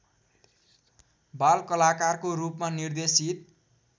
बालकलाकारको रूपमा निर्देशित